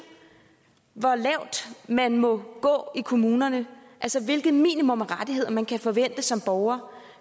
hvor lavt man må gå i kommunerne altså hvilke minimumsrettigheder man kan forvente som borger